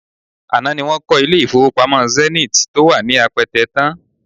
Àná ni wọ́n kọ́ ilé-ìfowópamọ́ Zenith tó wà ní Apẹtẹ tán